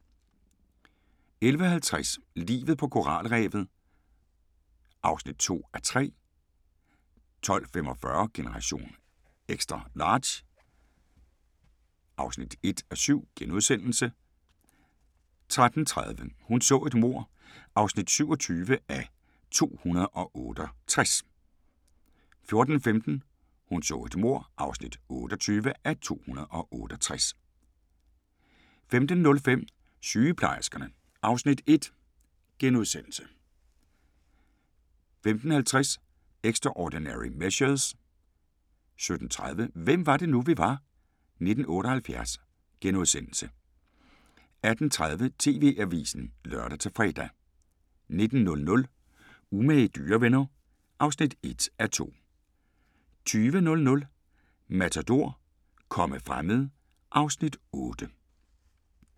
11:50: Livet på koralrevet (2:3) 12:45: Generation XL (1:7)* 13:30: Hun så et mord (27:268) 14:15: Hun så et mord (28:268) 15:05: Sygeplejerskerne (Afs. 1)* 15:50: Extraordinary Measures 17:30: Hvem var det nu, vi var? - 1978 * 18:30: TV-avisen (lør-fre) 19:00: Umage dyrevenner (1:2) 20:00: Matador - komme fremmede (Afs. 8)